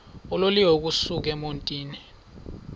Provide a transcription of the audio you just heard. uloliwe ukusuk emontini